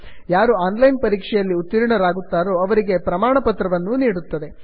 ಯಾರು online ಪರೀಕ್ಷೆಯಲ್ಲಿ ಉತ್ತೀರ್ಣರಾಗುತ್ತಾರೋ ಅವರಿಗೆ ಪ್ರಮಾಣಪತ್ರವನ್ನೂ ನೀಡುತ್ತದೆ